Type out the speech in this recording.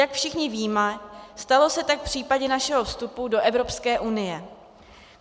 Jak všichni víme, stalo se tak v případě našeho vstupu do Evropské unie.